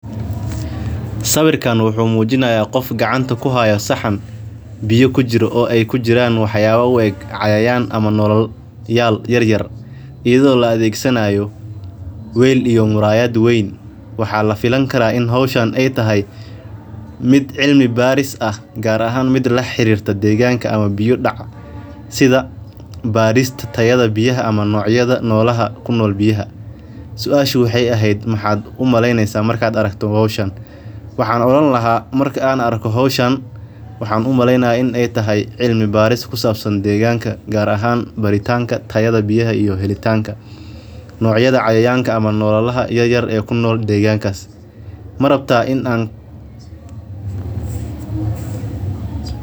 Sawiirkaan wuxuu mujinaaya qof gacanta ku haaya saxan biya kujirto oo aay kujiraan wax yaaba u eg cayayan ama nolol yaryar ayada oo la adeegsanaayo sida barista tayada biyaha iyo wax u eg waxaan oran lahaa waxaan umaleynaya waxa deegankaas kunool.